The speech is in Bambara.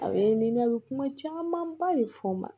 A ye ɲini a bɛ kuma camanba de fɔ n ma